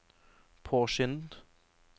påskyndet